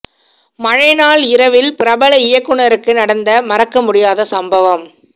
மழை நாள் இரவில் பிரபல இயக்குநருக்கு நடந்த மறக்க முடியாத சம்பவம்